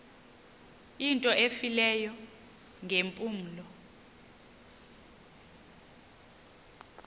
into efileyo ngeempumlo